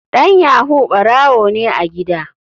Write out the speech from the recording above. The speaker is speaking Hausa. Dan yahoo barawo ne a gida.